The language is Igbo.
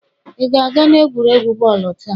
Ị ga-aga n'egwuregwu bọọlụ taa?